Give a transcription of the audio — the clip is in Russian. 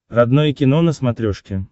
родное кино на смотрешке